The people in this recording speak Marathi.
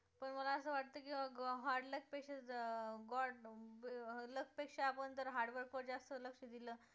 पण मला असं वाटतं की hard luck पेक्षा god luck पेक्षा जर आपण hard work वर जास्त लक्ष दिलं